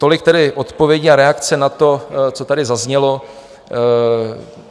Tolik tedy odpovědi a reakce na to, co tady zaznělo.